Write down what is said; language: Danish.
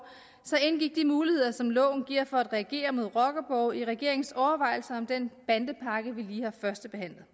så indgik de muligheder som loven giver for at reagere mod rockerborge i regeringens overvejelser om den bandepakke vi lige har førstebehandlet